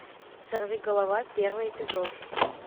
сорви голова первый эпизод